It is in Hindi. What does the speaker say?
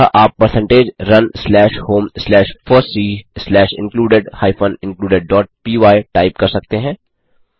अतः आप percentage run slash home slash fossee slash included hyphen included dot py type कर सकते हैं